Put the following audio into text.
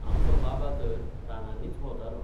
आमचो बाबा तर रानांनीच भोंवतालो.